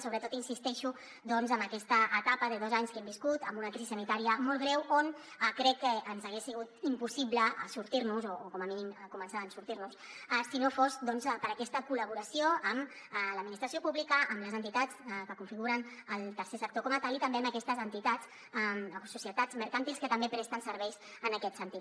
sobretot insisteixo doncs en aquesta etapa de dos anys que hem viscut amb una crisi sanitària molt greu on crec que ens hagués sigut impossible sortir nos en o com a mínim començar a sortir nos en si no fos doncs per aquesta col·laboració amb l’administració pública amb les entitats que configuren el tercer sector com a tal i també amb aquestes entitats o societats mercantils que també presten serveis en aquest sentit